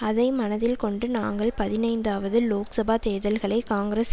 அதை மனதில் கொண்டு நாங்கள் பதினைந்தாவது லோக் சபா தேர்தல்களை காங்கிரஸ்